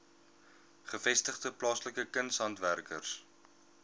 gevestigde plaaslike kunshandwerkers